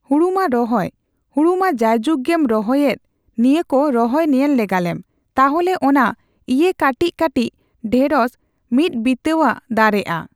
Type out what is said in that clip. ᱦᱩᱲᱩᱢᱟ ᱨᱚᱦᱚᱭ ᱦᱩᱲᱩᱢᱟ ᱡᱟᱭᱡᱩᱜ ᱜᱮᱢ ᱨᱚᱦᱚᱭᱮᱫ ᱱᱤᱭᱟᱹᱠᱩ ᱨᱚᱦᱚᱭ ᱧᱮᱞ ᱞᱟᱜᱟᱞᱮᱢ ᱛᱟᱦᱚᱞᱮ ᱚᱱᱟ ᱤᱭᱟᱹ ᱠᱟᱹᱴᱤᱡ ᱠᱟᱹᱴᱤᱡ ᱰᱷᱮᱸᱲᱚᱥ ᱢᱤᱫ ᱵᱤᱛᱟᱹᱜᱟᱡ ᱫᱟᱨᱮᱜᱼᱟ